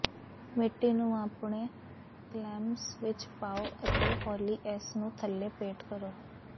ਮਿੱਟੀ ਨੂੰ ਆਪਣੇ ਕਲੈਮਸ ਵਿੱਚ ਪਾਓ ਅਤੇ ਹੌਲੀ ਇਸ ਨੂੰ ਥੱਲੇ ਪੇਟ ਕਰੋ